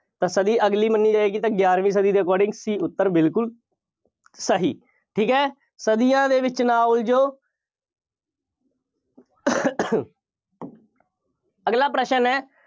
ਤਾਂ ਸਦੀ ਅਗਲੀ ਮੰਨੀ ਜਾਏਗੀ ਤਾਂ ਗਿਆਰਵੀਂ ਸਦੀ ਦੇ according C ਉੱਤਰ ਬਿਲਕੁੱਲ ਸਹੀ ਠੀਕ ਹੈ। ਸਦੀਆਂ ਦੇ ਵਿੱਚ ਨਾ ਉਲਝੋ। ਅਗਲਾ ਪ੍ਰਸ਼ਨ ਹੈ।